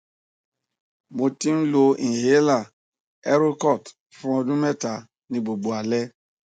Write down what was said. mo ti n lo inhaler erocort fun ọdun mẹta ni gbogbo alẹ